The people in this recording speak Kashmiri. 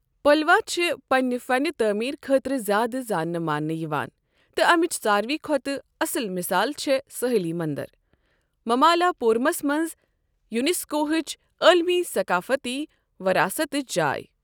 پَلوا چھِ پنٛنہِ فنِہ تعمیٖرٕ خٲطرٕ زیادٕ زانٛنہٕ مانٛنہٕ یوان، تہٕ امِچ ساروٕے کھۄتہٕ اصل مثال چھےٚ سٲحلی منٛدر، مَمالاپوٗرمس منٛز یُنٮ۪سکوہٕچ عالمی ثقافتی وراثتٕچ جاے۔